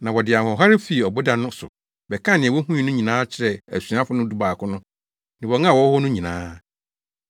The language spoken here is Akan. Na wɔde ahoɔhare fii ɔboda no so bɛkaa nea wohui no nyinaa kyerɛɛ asuafo dubaako no ne wɔn a wɔwɔ hɔ no nyinaa.